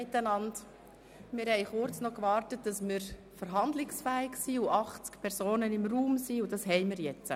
Wir haben noch kurz gewartet, bis wir 80 Personen im Saal haben und somit verhandlungsfähig sind.